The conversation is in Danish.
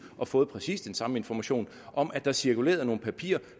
og få præcis den samme information om at der cirkulerede nogle papirer